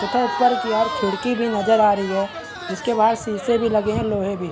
तथा उपर की और खिड़की भी नजर आ रही है जिसके बाहर शीशे भी लगे हैं लोहे भी।